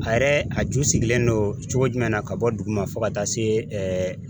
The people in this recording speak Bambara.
A yɛrɛ, a ju sigilen no cogo jumɛn na ka bɔ duguma fo ka taa se